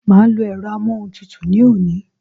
Màá lo èro amóhuntutù ní òní